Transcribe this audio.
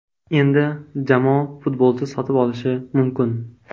Endi jamoa futbolchi sotib olishi mumkin.